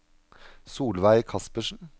Solveig Kaspersen